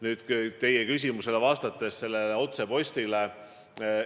Nüüd teie küsimus selle otsepostituse kohta.